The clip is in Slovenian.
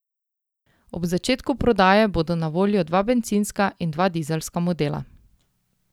Ob začetku prodaje bodo na voljo dva bencinska in dva dizelska modela.